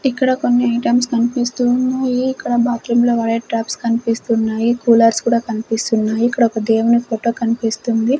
ఇక్కడ కొన్ని ఐటమ్స్ కనిపిస్తూ ఉన్నాయి ఇక్కడ బాత్ రూమ్ లో వాడే టబ్స్ కనిపిస్తూ ఉన్నాయి కూలర్స్ కూడా కనిపిస్తూ ఉన్నాయి ఇక్కడ ఒక దేవుని ఫోటో కనిపిస్తుంది.